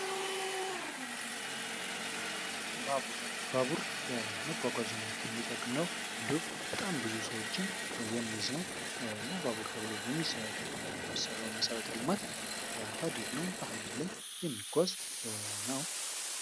ባቡር ባቡር ለመጓጓዣነነት የሚጠቅም ነው። እንዲሁም በጣም ብዙ ሰዎችን የሚይዝ ነው። እና ለባቡር ተብሎ የሚሰራው መሰረተ ልማት ሀዲድ ነው። በሃዲድ ላይ የሚጓዝ ነው።